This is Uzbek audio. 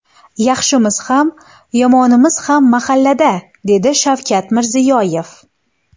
Yaxshimiz ham, yomonimiz ham mahallada”, – dedi Shavkat Mirziyoyev.